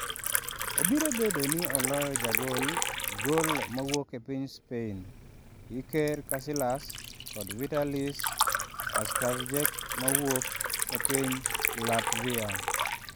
Obiro bedo ni oloyo jagol gol mawuok e piny Spain, Iker Casillas kod Vitalijs Astafjevs mawuok e piny Latvia.